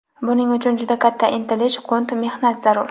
Buning uchun juda katta intilish, qunt, mehnat zarur.